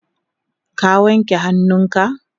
ka wanke hannunka?